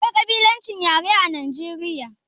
Akwai kabilancin yare a Nijeriya?